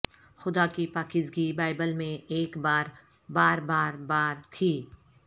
خدا کی پاکیزگی بائبل میں ایک بار بار بار بار تھی